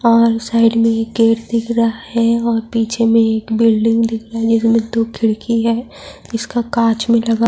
اورسائیڈ مے گیٹ دکھ رہا ہے ہے، اور پیچھے مے ایک بلڈنگ دیکھ رہی ہے ایک مے دو کھڑکی ہے، ایک مے کانچ لگا --